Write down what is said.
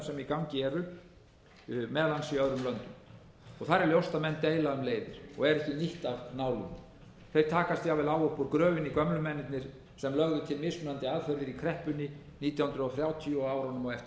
gangi eru meðal annars í öðrum löndum og þar er ljóst að menn deila um leiðir og er ekki nýtt af nálinni þeir takast jafnvel á upp úr gröfinni gömlu mennirnir sem lögðu til mismunandi aðferðir í kreppunni nítján hundruð þrjátíu og á árunum eftir